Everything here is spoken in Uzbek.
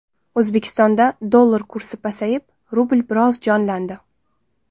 O‘zbekistonda dollar kursi pasayib, rubl biroz jonlandi .